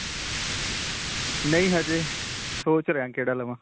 ਨਹੀਂ. ਹਜੇ ਸੋਚ ਰਿਆ ਕਿਹੜਾ ਲਵਾਂ.